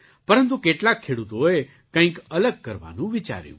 પરંતુ કેટલાક ખેડૂતોએ કંઈક અલગ કરવાનું વિચાર્યું